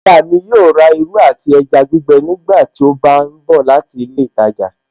Aya mi yóò rà irú àti ẹja gbígbẹ nígbàtí ó bá ń bọ̀ láti ilé ìtajà